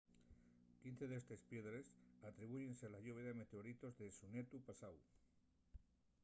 quince d’estes piedres atribúyense a la lluvia de meteoritos de xunetu pasáu